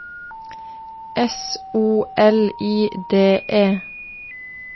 S O L I D E